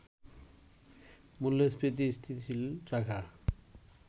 মূল্যস্ফীতি স্থিতিশীল রাখা